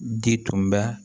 Di tun bɛ